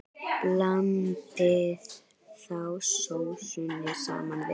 Blandið þá sósunni saman við.